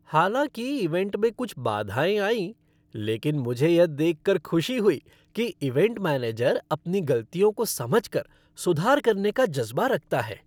हालांकि इवेंट में कुछ बाधाएं आईं लेकिन मुझे यह देख कर खुशी हुई कि इवेंट मैनेजर अपनी गलतियों को समझ कर सुधार करने का जज़बा रखता है।